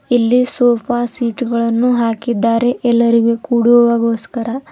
ಇಲ್ಲಿ ಸೋಫಾ ಸೀಟುಗಳನ್ನು ಹಾಕಿದ್ದಾರೆ ಎಲ್ಲರಿಗೂ ಕೂಡುವಗೋಸ್ಕರ.